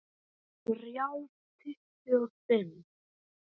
Þrjá tuttugu og fimm